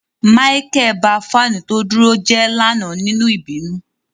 Micheal ba fanu to duro je lana ninu ibinu.